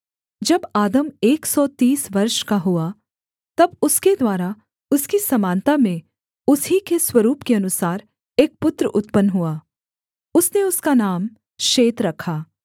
जब आदम एक सौ तीस वर्ष का हुआ तब उसके द्वारा उसकी समानता में उस ही के स्वरूप के अनुसार एक पुत्र उत्पन्न हुआ उसने उसका नाम शेत रखा